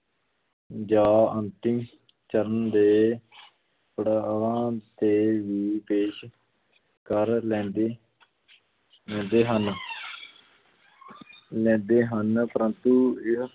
ਜਾਂ ਅੰਤਿਮ ਚਰਨ ਦੇ ਪੜਾਵਾਂ 'ਤੇ ਵੀ ਪੇਸ਼ ਕਰ ਲੈਂਦੀ ਲੈਂਦੇ ਹਨ ਲੈਂਦੇ ਹਨ, ਪਰੰਤੂ ਇਹ